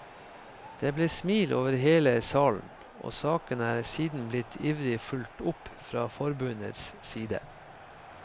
Det ble smil over hele salen, og saken er siden blitt ivrig fulgt opp fra forbundets side.